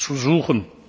uns zu suchen.